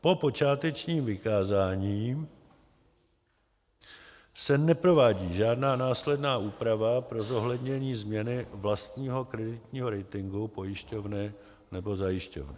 Po počátečním vykázání se neprovádí žádná následná úprava pro zohlednění změny vlastního kreditního ratingu pojišťovny nebo zajišťovny.